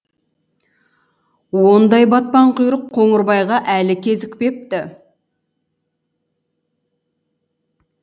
ондай батпан құйрық қоңырбайға әлі кезікпепті